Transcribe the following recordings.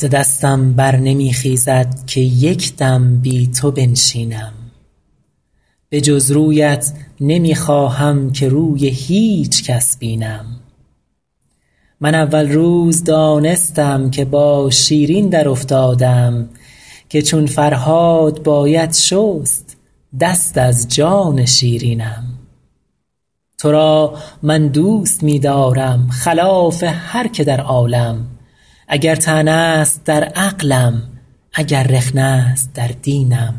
ز دستم بر نمی خیزد که یک دم بی تو بنشینم به جز رویت نمی خواهم که روی هیچ کس بینم من اول روز دانستم که با شیرین درافتادم که چون فرهاد باید شست دست از جان شیرینم تو را من دوست می دارم خلاف هر که در عالم اگر طعنه است در عقلم اگر رخنه است در دینم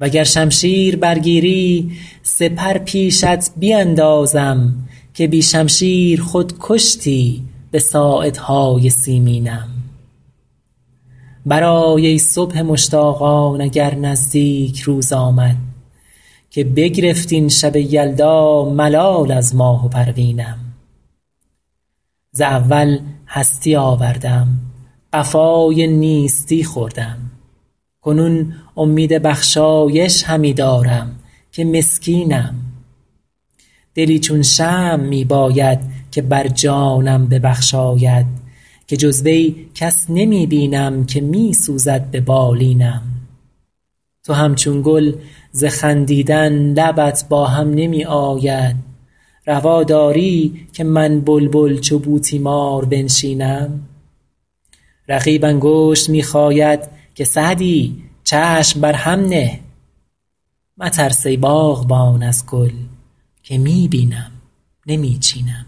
و گر شمشیر برگیری سپر پیشت بیندازم که بی شمشیر خود کشتی به ساعدهای سیمینم برآی ای صبح مشتاقان اگر نزدیک روز آمد که بگرفت این شب یلدا ملال از ماه و پروینم ز اول هستی آوردم قفای نیستی خوردم کنون امید بخشایش همی دارم که مسکینم دلی چون شمع می باید که بر جانم ببخشاید که جز وی کس نمی بینم که می سوزد به بالینم تو همچون گل ز خندیدن لبت با هم نمی آید روا داری که من بلبل چو بوتیمار بنشینم رقیب انگشت می خاید که سعدی چشم بر هم نه مترس ای باغبان از گل که می بینم نمی چینم